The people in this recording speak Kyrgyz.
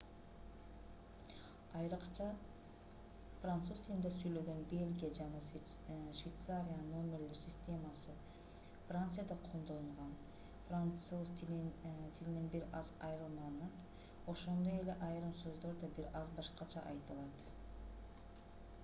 айрыкча француз тилинде сүйлөгөн бельгия жана швейцариянын номерлер системасы францияда колдонулган француз тилинен бир аз айырмаланат ошондой эле айрым сөздөр да бир аз башкача айтылат